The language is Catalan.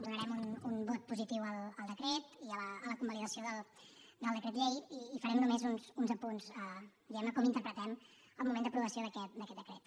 donarem un vot positiu al decret i a la convalidació del decret llei i farem només uns apunts diguem ne a com interpretem el moment d’aprovació d’aquest decret